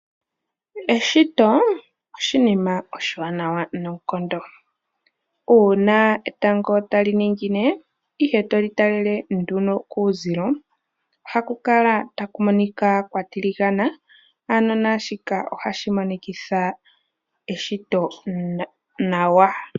Eshito oshinima oshiwanawa noonkondo. Uuna etango taliningine ihe toli tale nduno kuzilo ohakukala takumonika kwatiligana ano nashika ohashi monikitha eshito nawa.